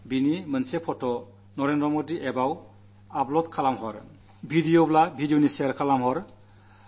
ആ പങ്കുചേരലിന്റെ ഫോട്ടോ എനിക്ക് നരേന്ദ്രമോദി ആപ് ൽ ഷെയർ ചെയ്യുക വീഡിയോ ആണെങ്കിൽ അതു ഷെയർ ചെയ്യുക